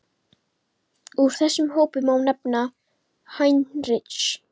Úr þessum hópi má nefna: Heinrich